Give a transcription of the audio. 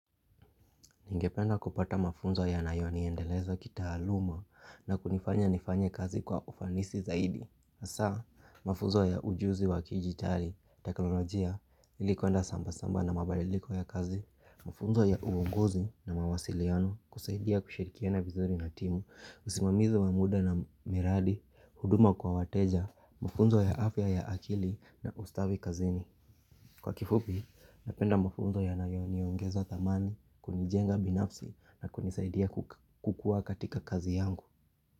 Ningependa kupata mafunzo yanayoniendeleza kitaaluma na kunifanya nifanya kazi kwa ufanisi zaidi. Hasaa, mafunzo ya ujuzi wa kijitali, teknolojia, ilikuenda samba-samba na mabadiliko ya kazi, mafunzo ya uongozi na mawasiliano kusaidia kushirikiana vizuri na timu, usimamizi wa muda na miradi, huduma kwa wateja, mafunzo ya afya ya akili na ustawi kazini. Kwa kifupi, napenda mafunzo yanayo niongeza thamani, kunijenga binafsi na kunisaidia kukua katika kazi yangu.